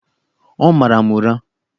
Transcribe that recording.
Ọ mara m ụra!